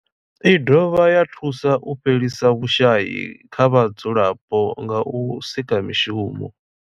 I dovha ya thusa u fhelisa vhushayi kha vhadzulapo nga u sika mishumo.